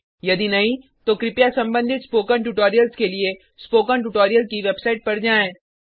यदि नहीं तो कृपया संबंधित स्पोकन ट्यूटोरियल्स के लिए स्पोकन ट्यूटोरियल की वेबसाइट पर जाएँ